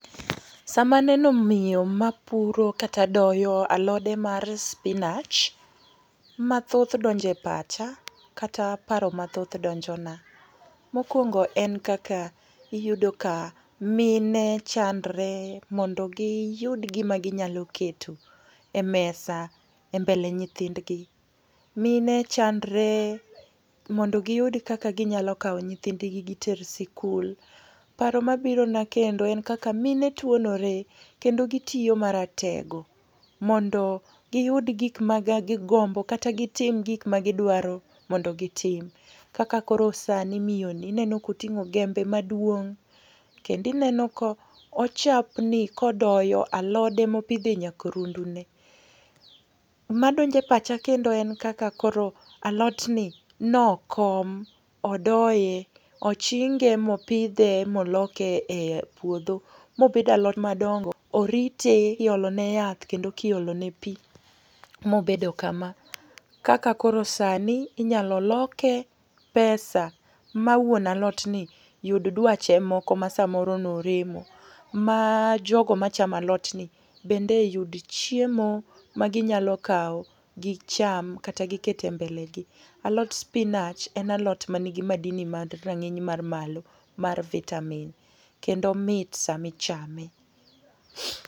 Sama aneno miyo mapuro kata doyo alode mar spinach, ma thoth donjo e pacha, kata paro mathoth donjona. Mokwongo en kaka, iyudo ka mine chandore mondo giyud gima ginyalo keto e mesa e mbele nyithindgi. Mine chandore mondo giyud kaka ginyalo kawo nyithindgi giter sikul. Paro mabiro na kendo en kaka mine twonore kendo gitiyo maratego mondo giyud gik mage gigombo kata gitim gik magidwaro mondo gitim. Kaka koro sani miyo ni inengo ka oting'o jembe maduong'. Kendo ineno ka ochapni ka odoyo alode ma opidho e nyakrundune. Madonjo e pacha kendo en kaka koro alotni ne okom, odoye, ochinge ma opidhe, ma oloke e puodho, mobedo alot madongo. Orite, iolone yath, kendo kiolone pi mobedo kama. Kaka koro sani inyalo loke pesa, ma wuon alotni, yud dwache moko ma samoro ne oremo. Ma jogo machamo alotni bende yud chiemo ma ginyalo kawo gicham kata giket e mbelegi. Alot spinach en alot manigi madini mag rang'iny man malo mar vitamins kendo omit sama ichame.